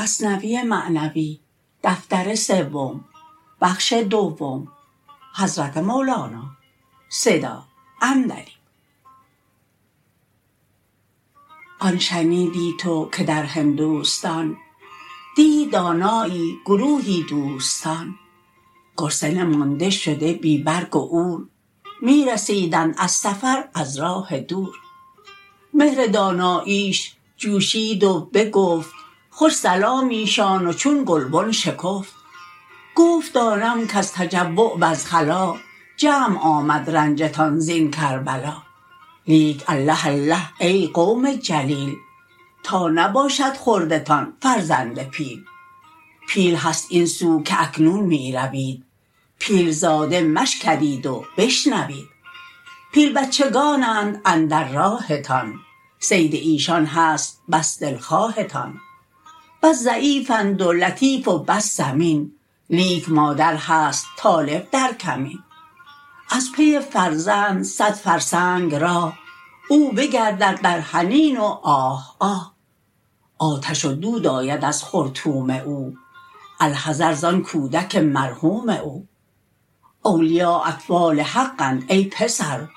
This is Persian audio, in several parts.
آن شنیدی تو که در هندوستان دید دانایی گروهی دوستان گرسنه مانده شده بی برگ و عور می رسیدند از سفر از راه دور مهر داناییش جوشید و بگفت خوش سلامیشان و چون گلبن شکفت گفت دانم کز تجوع وز خلا جمع آمد رنجتان زین کربلا لیک الله الله ای قوم جلیل تا نباشد خوردتان فرزند پیل پیل هست این سو که اکنون می روید پیل زاده مشکرید و بشنوید پیل بچگانند اندر راهتان صید ایشان هست بس دلخواهتان بس ضعیف اند و لطیف و بس سمین لیک مادر هست طالب در کمین از پی فرزند صد فرسنگ راه او بگردد در حنین و آه آه آتش و دود آید از خرطوم او الحذر زان کودک مرحوم او اولیا اطفال حق اند ای پسر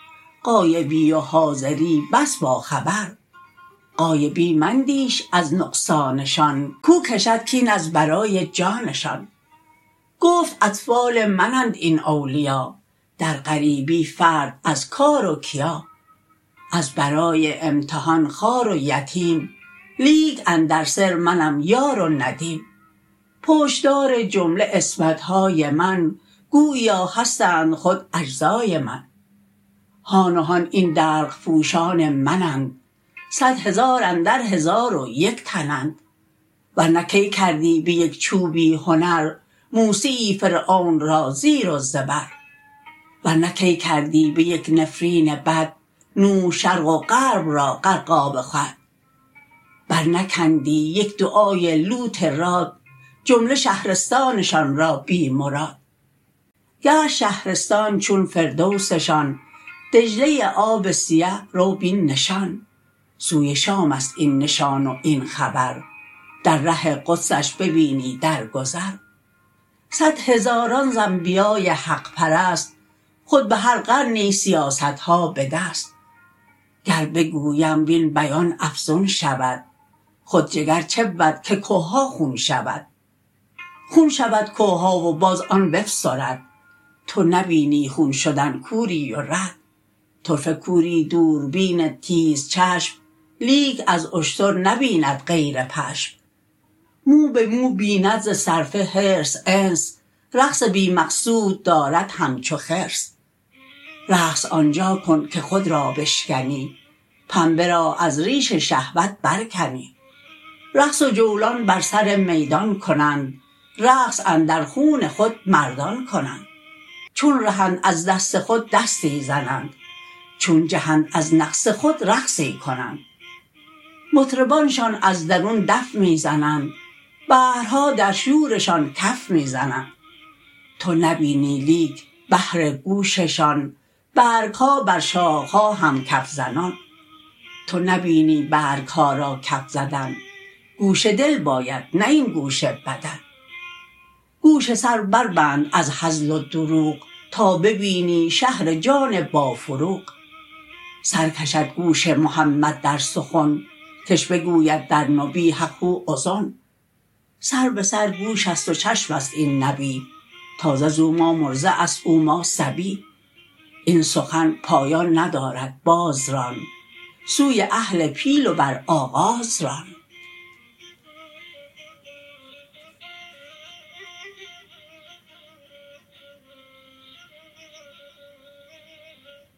غایبی و حاضری بس با خبر غایبی مندیش از نقصانشان کاو کشد کین از برای جانشان گفت اطفال من اند این اولیا در غریبی فرد از کار و کیا از برای امتحان خوار و یتیم لیک اندر سر منم یار و ندیم پشت دار جمله عصمت های من گوییا هستند خود اجزای من هان و هان این دلق پوشان من اند صد هزار اندر هزار و یک تن اند ورنه کی کردی به یک چوبی هنر موسی یی فرعون را زیر و زبر ورنه کی کردی به یک نفرین بد نوح شرق و غرب را غرقاب خود برنکندی یک دعای لوط راد جمله شهرستانشان را بی مراد گشت شهرستان چون فردوسشان دجله آب سیه رو بین نشان سوی شام ست این نشان و این خبر در ره قدسش ببینی در گذر صد هزاران ز انبیای حق پرست خود به هر قرنی سیاست ها به دست گر بگویم وین بیان افزون شود خود جگر چبود که که ها خون شود خون شود که ها و باز آن بفسرد تو نبینی خون شدن کوری و رد طرفه کوری دوربین تیزچشم لیک از اشتر نبیند غیر پشم مو به مو بیند ز صرفه حرص انس رقص بی مقصود دارد همچو خرس رقص آنجا کن که خود را بشکنی پنبه را از ریش شهوت برکنی رقص و جولان بر سر میدان کنند رقص اندر خون خود مردان کنند چون رهند از دست خود دستی زنند چون جهند از نقص خود رقصی کنند مطربانشان از درون دف می زنند بحرها در شورشان کف می زنند تو نبینی لیک بهر گوششان برگ ها بر شاخ ها هم کف زنان تو نبینی برگ ها را کف زدن گوش دل باید نه این گوش بدن گوش سر بربند از هزل و دروغ تا ببینی شهر جان با فروغ سر کشد گوش محمد در سخن کش بگوید در نبی حق هو اذن سر به سر گوش ست و چشم است این نبی تازه زو ما مرضع ست او ما صبی این سخن پایان ندارد باز ران سوی اهل پیل و بر آغاز ران